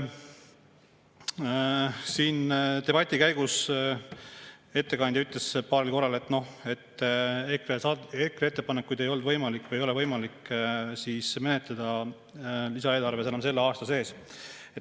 Siin debati käigus ütles ettekandja paar korda, et EKRE ettepanekuid eelarve kohta ei ole võimalik menetleda enam selle aasta sees.